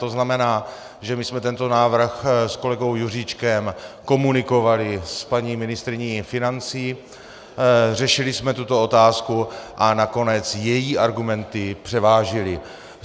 To znamená, že my jsme tento návrh s kolegou Juříčkem komunikovali s paní ministryní financí, řešili jsme tuto otázku a nakonec její argumenty převážily.